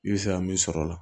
I bɛ se ka min sɔrɔ o la